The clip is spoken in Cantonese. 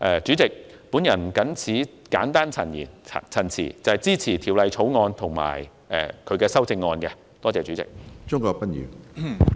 主席，我謹此簡單陳辭，支持《條例草案》和修正案。多謝主席。